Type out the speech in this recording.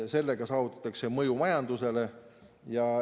Sellega saavutatakse mõju majandusele.